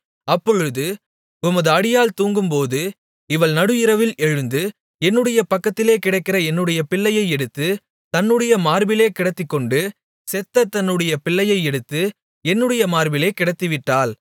அப்பொழுது உமது அடியாள் தூங்கும்போது இவள் நடுஇரவில் எழுந்து என்னுடைய பக்கத்திலே கிடக்கிற என்னுடைய பிள்ளையை எடுத்து தன்னுடைய மார்பிலே கிடத்திக்கொண்டு செத்த தன்னுடைய பிள்ளையை எடுத்து என்னுடைய மார்பிலே கிடத்திவிட்டாள்